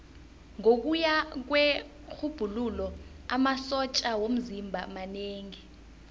ngokuya kwerhubhululo amasotja womzimba manengi